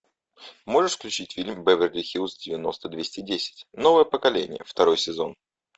можешь включить фильм беверли хиллз девяносто двести десять новое поколение второй сезон